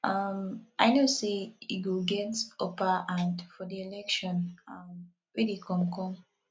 um i know say he go get upper hand for the election um wey dey come come